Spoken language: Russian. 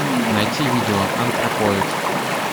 найти видео антропоид